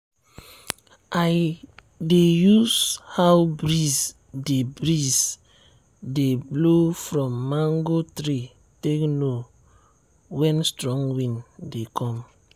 i dey use how breeze dey breeze dey blow from mango tree take know when strong wind dey come.